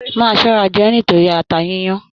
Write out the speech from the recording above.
Máa ṣọra jẹ ẹ nítorí ata yiyan!